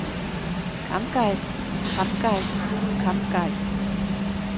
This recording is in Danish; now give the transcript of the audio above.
kampgejst kampgejst kampgejst